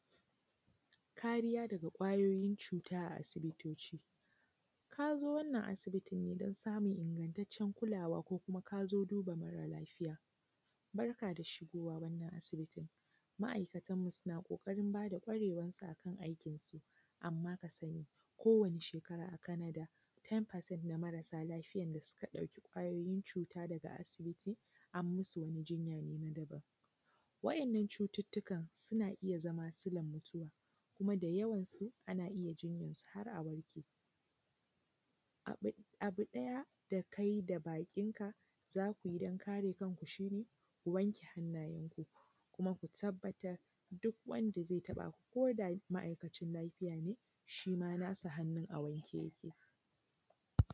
Kariya daga kwayoyin cuta a asibitoci. Ka zo wannan asibitin ne don samun ingantaccen kulawa ko kuma ka zo duba mara lafiya, Barka da shigowa wannan asibiti Ma'aikatanmu suna ƙoƙarin ba da ƙwarewarsu a kan aikinsu, kowanne shekara a Canada ten percent na marasa lafiya da suka ɗauki ƙwayoyin cuta daga asibiti an musu wani jinya ne na daban. Wadannan cututtukan suna iya zama sila mutuwa, kuma da yawansu ana iya jinya har a warke Abu ɗaya da kai da bakinka za ku yi don kare kanku shi ne, wanke hannayenku kuma ku tabbatar duk wanda zai taɓa ku ko da ma'aikacin lafiya ne shi ma nasa hannun a wanke yake.